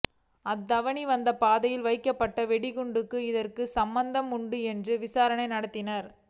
அத்வானி வந்த பாதையில் வைக்கப்பட்ட வெடிகுண்டுக்கும் இதற்கும் சம்பந்தம் உண்டா என்றும் விசாரணை நடத்தினர்